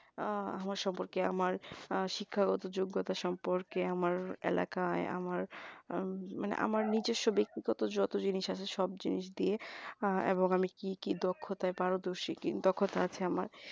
আমার সম্পর্কে আমার শিক্ষাগত যোগ্যতা সম্পর্কে আমার এলাকায় আমার মানে আমার নিজস্ব ব্যক্তিগত যত জিনিস আছে সব জিনিস দিয়ে এবং আমি কি দক্ষতায় পারদর্শী দক্ষতা আছে আমার